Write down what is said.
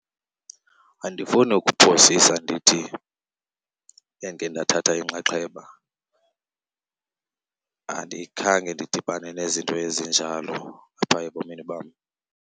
Andifuni ukuphosisa ndithi endike ndathatha inxaxheba. Andikhange ndidibane nezinto ezinjalo apha ebomini bam.